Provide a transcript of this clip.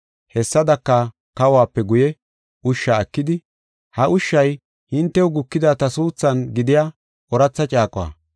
Hessadaka, kahuwape guye, ushsha ekidi, “Ha ushshay hintew gukida ta suuthan gidiya ooratha caaquwa.